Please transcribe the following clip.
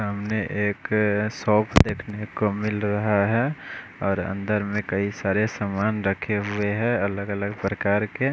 सामने एक अः शॉप देखने को मिल रहा है और अंदर में कई सारे समान रखे हुए है अलग अलग प्रकार के--